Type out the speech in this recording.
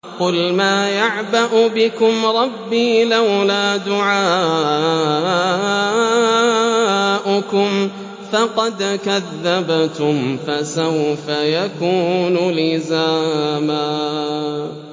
قُلْ مَا يَعْبَأُ بِكُمْ رَبِّي لَوْلَا دُعَاؤُكُمْ ۖ فَقَدْ كَذَّبْتُمْ فَسَوْفَ يَكُونُ لِزَامًا